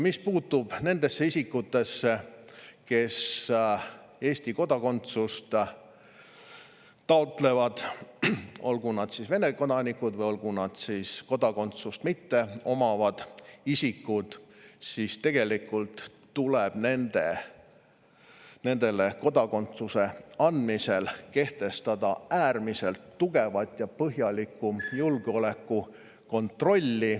Mis puutub nendesse isikutesse, kes Eesti kodakondsust taotlevad, olgu nad Vene kodanikud või kodakondsust mitteomavad isikud, siis tuleb enne nendele kodakondsuse andmist kehtestada äärmiselt tugev ja põhjalik julgeolekukontroll.